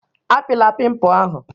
Apịla pimpụ ahụ!